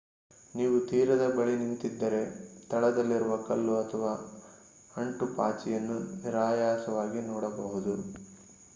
ನೀವು ತೀರದ ಬಳಿ ನಿಂತಿದ್ದರೆ ತಳದಲ್ಲಿರುವ ಕಲ್ಲು ಅಥವಾ ಅಂಟುಪಾಚಿಯನ್ನು ನಿರಾಯಾಸವಾಗಿ ನೋಡಬಹುದು